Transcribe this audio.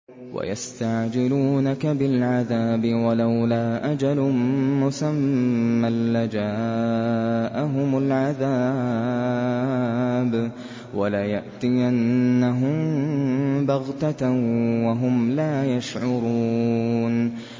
وَيَسْتَعْجِلُونَكَ بِالْعَذَابِ ۚ وَلَوْلَا أَجَلٌ مُّسَمًّى لَّجَاءَهُمُ الْعَذَابُ وَلَيَأْتِيَنَّهُم بَغْتَةً وَهُمْ لَا يَشْعُرُونَ